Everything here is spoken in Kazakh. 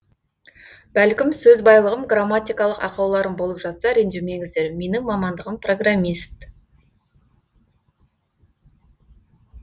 бәлкім сөз байлығым грамматикалық ақауларым болып жатса ренжімеңіздер менің мамандығым программист